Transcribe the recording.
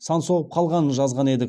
сан соғып қалғанын жазған едік